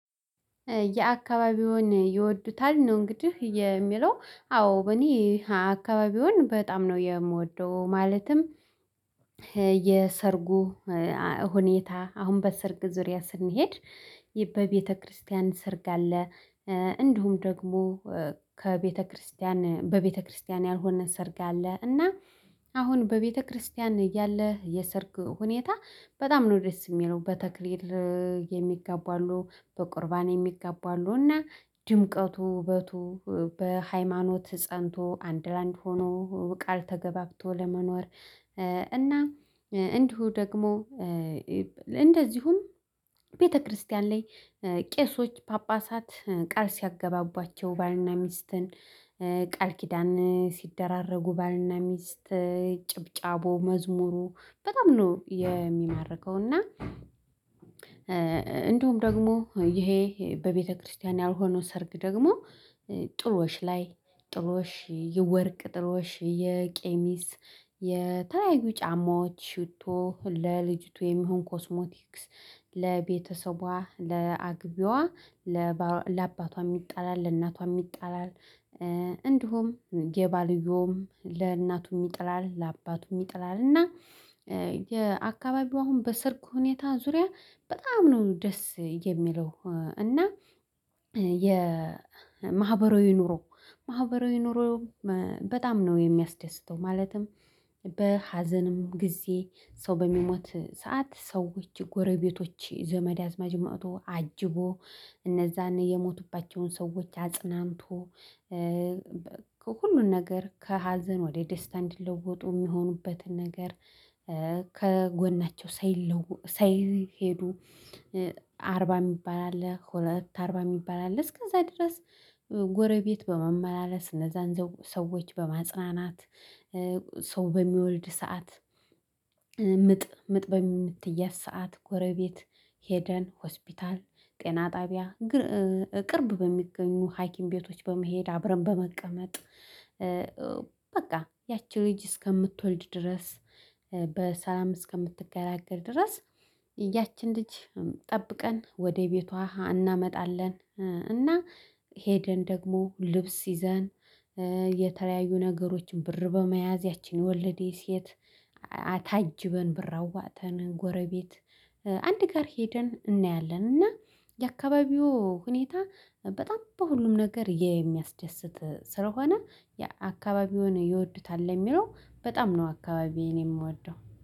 የአካባቢውን ይወዱታል ነው። እንግዲህ የሚለው? አዎ እኔ አካባቢውን በጣም ነው የምወደው። ማለትም የሰርጉ ሁኔታ አሁን በሰርግ ዙሪያ ስንሄድ በቤተክርስቲያን ሰርግ አለ። እንዲሁም ደግሞ ከቤተክርስቲያን በቤተክርስቲያን ያልሆነ ሰርግ አለ። እና አሁን በቤተክርስቲያን ያለ የሰርግ ሁኔታ በጣም ነው ደስ የሚለው። በተክሌር የሚጋቡ አሉ በቁርባን የሚጋቡ አሉ እና ድምቀቱ ውበቱ በሃይማኖት ፀንቶ አንድ ለአንድ ሆኖ ቃል ተገባብቶ ለመኖር። እና እንዲሁ ደግሞ እንደዚሁም ቤተክርስቲያን ላይ ቄሶች ጳጳሳት ቃል ሲያገባባቸው ባልና ሚስትን ቃል ኪዳን ሲደራረጉ ባልና ሚስት ጭብጨቦ መዝሙሩ በጣም ነው የሚማረከው። እና እንዲሁም ደግሞ ይሄ በቤተክርስቲያን ያልሆነው ሰርግ ደግሞ ጥሎሽ ላይ ጥሎሽ የወርቅ ጥሎሽ የቄሚስ የተለያዩ ጫማዎች ሽቶ ለልጅቱ የሚሆን ኮስሞቲክስ ለቤተሰቧ ለአግቢያዋ ለአባቷ ይጣላል። ለእናቷ ይጣላል። እንዲሁም የባልዮም ለእናቱም ይጥላል ለአባቱም ይጥላል። እና የአካባቢው አሁን በሰርግ ሁኔታ ዙሪያ በጣም ነው ደስ የሚለው። እና የማህበራዊ ኑሮ ማህበራዊ ኑሮ በጣም ነው የሚያስደስተው። ማለትም በሀዘንም ጊዜ ሰው በሚሞት ሰዓት ሰዎች ጎረቤቶች ዘመድ አዝማድ ማጥቶ አጅቦ እነዛን የሞቱባቸውን ሰዎች አጽናንቶ ከሁሉን ነገር ከሀዘን ወደ ደስታ እንዲለወጡ የሚሆኑበትን ነገር። ከጎናቸው ሳይሄዱ አርባ የሚባል አለ ሁለት አርባ የሚባል አለ እስከዛ ድረስ። ጎረቤት በመመላለስ እነዛን ሰዎች በማጽናናት። ሰው በሚወልድ ሰዓት ምጥ ምጥ በምትያዝ ሰዓት ጎረቤት ሄደን ሆስፒታል ጤና ጣቢያ ቅርብ በሚገኙ ሀኪም ቤቶች በመሄድ አብረን በመቀመጥ። በቃ ያቺ ልጅ እስከምትወልድ ድረስ በሰላም እስከምትገላገል ድረስ ያችን ልጅ ጠብቀን ወደ ቤቷ እናመጣለን። እና ሄደን ደግሞ ልብስ ይዘን የተለያዩ ነገሮችን ብር በመያዝ ያችን የወለደች ሴት አታጅበን ብር አዋጥተን ጎረቤት አንድ ጋር ሄደን እናያለን። እና የአካባቢው ሁኔታ በጣም በሁሉም ነገር የሚያስደስት ስለሆነ። የአካባቢውን ይወዱታል ለሚለው በጣም ነው አካባቢዬን የምወደው